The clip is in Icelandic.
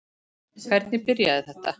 Hvernig byrjaði þetta?